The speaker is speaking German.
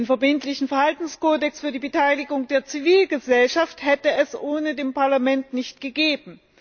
Den verbindlichen Verhaltenskodex für die Beteiligung der Zivilgesellschaft hätte es ohne das Parlament nicht gegeben.